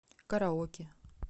караоке